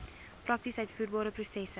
prakties uitvoerbare prosesse